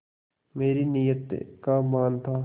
मेरी नीयत का मान था